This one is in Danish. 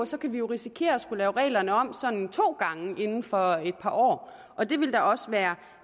så kan vi jo risikere at skulle lave reglerne om sådan to gange inden for et par år og det ville da også være